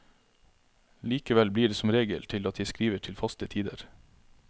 Likevel blir det som regel til at jeg skriver til faste tider.